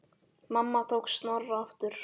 Mamma tók Snorra aftur.